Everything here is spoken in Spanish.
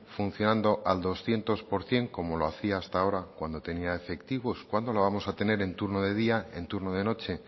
funcionando al doscientos por ciento como lo hacía hasta ahora cuando tenía efectivos cuándo lo vamos a tener en turno de día y en turno de noche